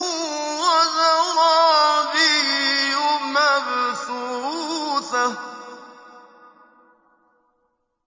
وَزَرَابِيُّ مَبْثُوثَةٌ